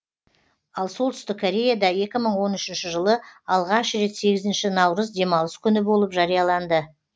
ал солтүстік кореяда екі мың он үшінші жылы алғаш рет сегізінші наурыз демалыс күні болып жарияланды